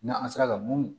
N'an sera ka mun